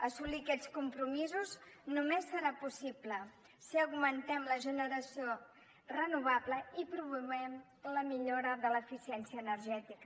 assolir aquests compromisos només serà possible si augmentem la generació renovable i promovem la millora de l’eficiència energètica